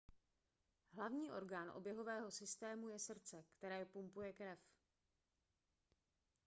hlavní orgán oběhového systému je srdce které pumpuje krev